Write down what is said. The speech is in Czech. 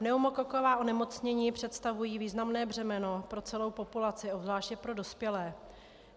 Pneumokoková onemocnění představují významné břemeno pro celou populaci, obzvláště pro dospělé.